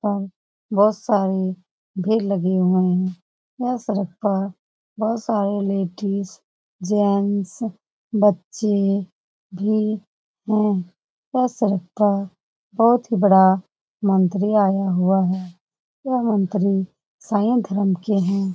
बहुत सारी भीड़ लगे हुई है यह सड़क पर बहुत सारी लेडीज जेंट्स बच्चे भी है यह सड़क पर बहुत बड़ा मंत्री भी आया हुआ है यह मंत्री शायद